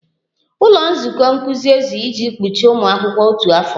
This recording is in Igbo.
Ụlọ nzukọ nkuzi ezughị iji gbochie ụmụ akwụkwọ otu afọ